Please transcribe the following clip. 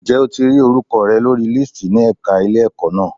Ǹjẹ́ o ti rí orúkọ rẹ lórí lísìtì ní ẹ̀ka ilé-ẹ̀kọ́ na.